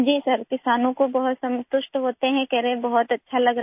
जी sir किसानों को बहुत संतुष्ट होते हैं कह रहे हैं बहुत अच्छा लग रहा